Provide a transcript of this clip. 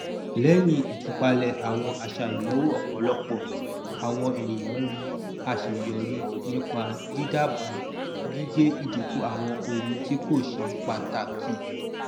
lẹyìn ìtúpalẹ àwọn àṣà ìnáwó ọpọlọpọ àwọn ènìyàn rí aṣeyọrí nípa dídábàà gígé ìdínkù àwọn ohun tí kò ṣe pàtàkì